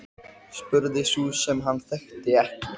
spurði sú sem hann þekkti ekki.